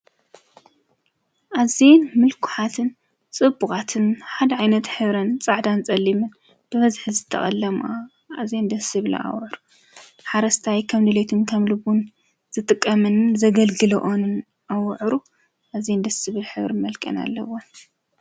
ኣዘየን ምልኩዓትን ጽቡቓትን ሓደ ኣይነት ኅብረን ጻዕዳን ጸሊምን ብበዝኅ ዝተቐለማ ኣዘይን ደስብሃሊ ሕብር ሓረስታይ ከም ድልቱን ከምልቡን ዝጥቀምንን ዘገልግሎኦኑን ኣውዕሩ ኣዘይን ስብል ኅብሪ መልቀን ኣለወንደ